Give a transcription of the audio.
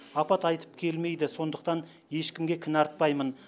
апат айтып келмейді сондықтан ешкімге кінә артпаймын